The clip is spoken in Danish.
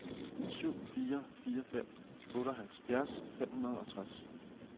syv fire fire fem otteoghalvfjerds fem hundrede og tres